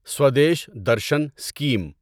Swadesh Darshan scheme